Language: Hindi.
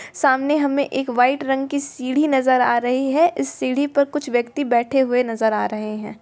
सामने हमें एक वाइट रंग की सीढ़ी नजर आ रही है। इस सीढ़ी पर कुछ व्यक्ति बैठे हुए नजर आ रहे है।